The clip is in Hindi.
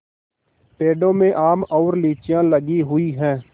पेड़ों में आम और लीचियाँ लगी हुई हैं